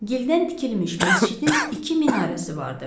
Gildən tikilmiş məscidin iki minarəsi vardı.